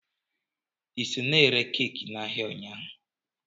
Ị nọ na-ere keeki n'ahịa ụnyaahụ?